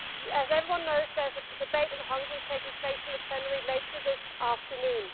As everyone knows, there is a debate on Hungary taking place in the plenary later this afternoon.